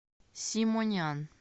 симонян